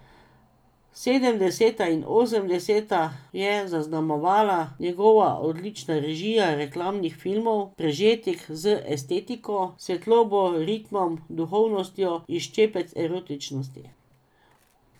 Sedemdeseta in osemdeseta je zaznamovala njegova odlična režija reklamnih filmov, prežetih z estetiko, svetlobo, ritmom, duhovitostjo in ščepcem erotičnosti.